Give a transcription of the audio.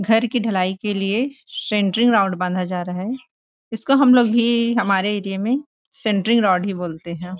घर की ढलाई के लिए सेंटरिंग रोड बाँधा जा रहा है इस को हम लोग भी हमारे एरिया में सेंटरिंग रोड ही बोलते है ।